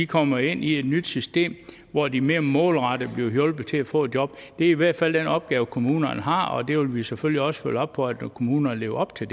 kommer ind i et nyt system hvor de mere målrettet bliver hjulpet til at få job det er i hvert fald den opgave kommunerne har og det vil vi selvfølgelig også følge op på at kommunerne lever op til